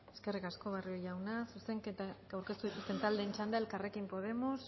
eskerrik asko barrio jauna zuzenketak aurkeztu dituzten taldeen txanda elkarrekin podemos